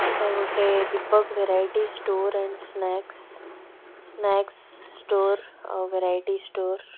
ଏଟା ଗୋଟେ Deepak variety store and snacks snacks store or variety store.